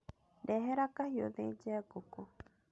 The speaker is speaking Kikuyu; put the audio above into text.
Ndehera kahiũ thĩnjĩ ngũkũ.